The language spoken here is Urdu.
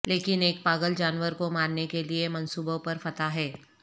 لیکن ایک پاگل جانور کو مارنے کے لئے منصوبوں پر فتح ہے